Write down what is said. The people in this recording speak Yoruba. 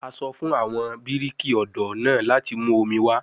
A sọ fun awọn biriki ọdọ naa lati mu omi wa